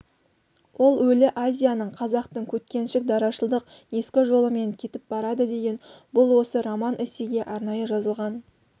ол өлі азияның қазақтың көткеншік дарашылдық ескі жолымен кетіп барады деген бұл осы роман-эссеге арнайы жазылған